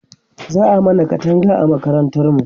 za'a mana Katanga a makarantar mu